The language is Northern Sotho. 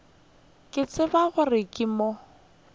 ke tsebe gore ke mo